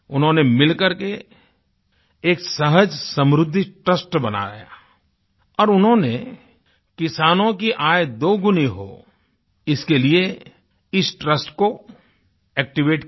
उन्होंने मिलकर के एक सहज समृद्धि ट्रस्ट बनाया है और उन्होंने किसानों की आय दोगुनी हो इसके लिए इस ट्रस्ट को एक्टिवेट किया